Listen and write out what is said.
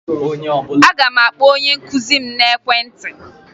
Aga m akpọ onye nkụzi m n'ekwentị